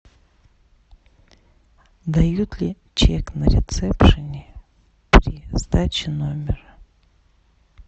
дают ли чек на ресепшене при сдаче номера